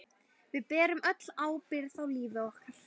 Við berum öll ábyrgð á lífi okkar.